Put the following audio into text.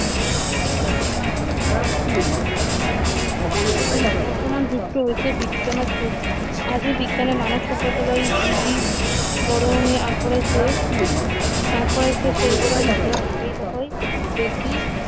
বৰ্তমান যুগটো হৈছে বিজ্ঞানৰ যুগ আজি বিজ্ঞানে মানৱ সভ্যতালৈ যি যি বৰঙণি আগবঢ়াইছে আগবঢ়াইছে সেইবোৰৰ ভিতৰত আটাইতকৈ বেছি